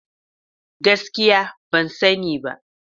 Gaskiya! Ban sani ba.